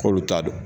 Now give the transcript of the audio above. K'olu ta don